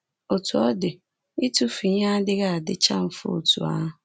Otú ọ dị, ịtụfu ihe adịghị adịcha mfe otú ahụ.